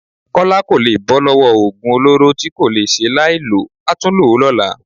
Kọ́lá kò lè bọ́ lọ́wọ́ oògùn olóró tí kò le ṣe láìlò, a tún lò ó lọ́la